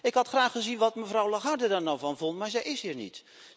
Ik had graag gezien wat mevrouw Lagarde daar nou van vond, maar zij is hier niet.